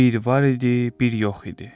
Bir var idi, bir yox idi.